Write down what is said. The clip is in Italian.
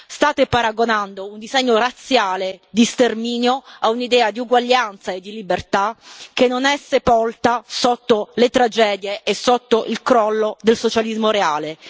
State paragonando un disegno razziale di sterminio a un'idea di uguaglianza e di libertà che non è sepolta sotto le tragedie e sotto il crollo del socialismo reale.